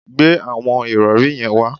Gbe àwọn ìrọ̀rí yẹn wá